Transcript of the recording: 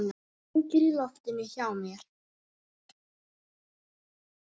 Hangir í loftinu hjá mér.